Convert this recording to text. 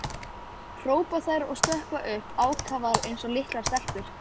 hrópa þær og stökkva upp, ákafar eins og litlar stelpur.